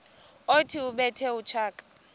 othi ubethe utshaka